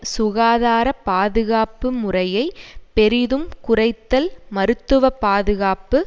சுகாதார பாதுகாப்பு முறையை பெரிதும் குறைத்தல் மருத்துவ பாதுகாப்பு